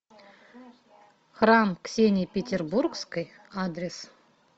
храм ксении петербургской адрес